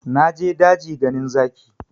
Na je daji ganin zaki